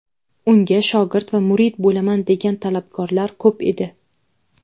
Unga shogird va murid bo‘laman degan talabgorlar ko‘p edi.